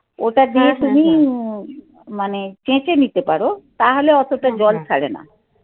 ওটা দিয়ে তুমি মানে চেঁচে নিতে পারো. তাহলে অতটা জল ছাড়ে না